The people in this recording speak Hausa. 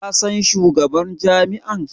Ka san shugaban jam'iyyar?